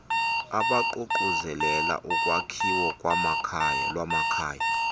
abaququzelela ulwakhiwo lwamakhaya